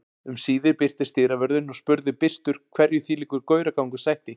Um síðir birtist dyravörðurinn og spurði byrstur hverju þvílíkur gauragangur sætti.